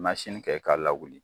kɛ k'a lawuli